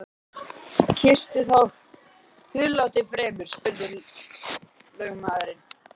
Kýstu þá húðlátið fremur, spurði lögmaður.